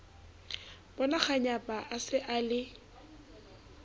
bonakganyapa a se a le